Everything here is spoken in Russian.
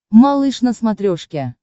малыш на смотрешке